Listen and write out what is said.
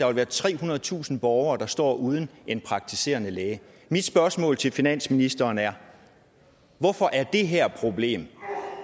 vil være trehundredetusind borgere der står uden en praktiserende læge mit spørgsmål til finansministeren er hvorfor er det her problem